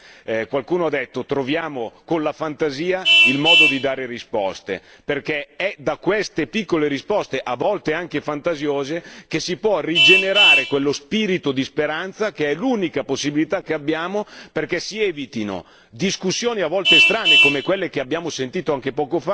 Qualcuno ha detto Troviamo con la fantasia il modo di dare risposte è infatti da queste piccole risposte, a volte anche fantasiose, che si può rigenerare quello spirito di speranza che è l'unica possibilità che abbiamo perché si evitino discussioni a volte strane, come quelle che abbiamo sentito anche poco fa,